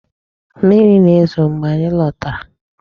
Mmiri na-ezo mgbe anyị lotara.